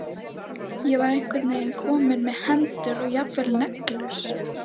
Ég var komin með einhvern veginn hendur og jafnvel neglur.